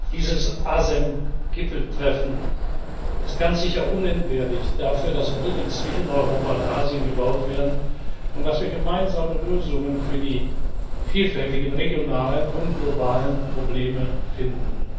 Dieses ASEM Gipfeltreffen ist ganz sicher unentbehrlich dafür, dass Brücken zwischen Europa und Asien gebaut werden und dass wir gemeinsame Lösungen für die vielfältigen regionalen und globalen Probleme finden.